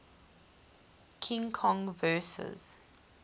king kong vs